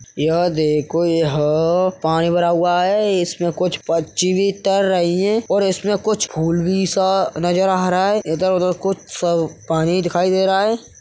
यह देखो यह पानी भरा हुआ है इसमे कुछ पक्षी भी तैर रही हैं। इसमें कुछ फूल भी सा नजर आ रहा है इधर-उधर कुछ पानी दिखाई दे रहा है।